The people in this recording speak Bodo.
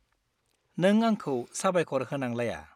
नों आंखौ साबायखर होनांलाया।